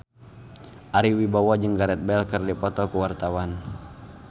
Ari Wibowo jeung Gareth Bale keur dipoto ku wartawan